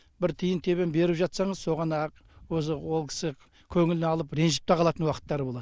бір тиын тебен беріп жатсаңыз соған ақ өзі ол кісі көңіліне алып ренжіп те қалатын уақыттары болады